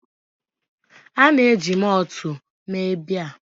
A na-eji mọọtụ mee biya